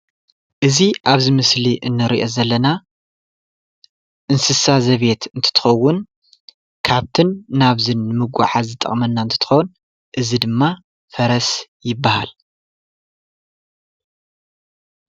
እዚ አብዚ ምስሊ እንሪኦ ዘለና እንስሳ ዘቤት እንትትከውን ካብትን ናብዝን ንምጉዕዓዝ ዝጠቅመና እንትትከውን እዚ ድማ ፈረስ ይበሃል።